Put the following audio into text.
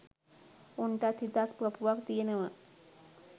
උන්ටත් හිතක් පපුවක් තියනවා.